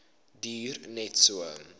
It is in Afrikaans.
duur net so